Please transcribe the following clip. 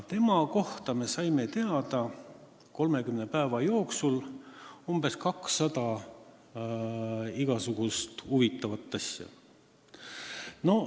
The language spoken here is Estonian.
Tema kohta me saime 30 päeva jooksul teada umbes 200 igasugust huvitavat asja.